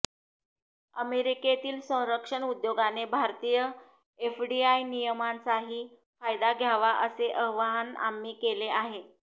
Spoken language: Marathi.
अमेरिकेतील संरक्षण उद्योगाने भारतीय एफडीआय नियमांचाही फायदा घ्यावा असे आवाहन आम्ही केले आहे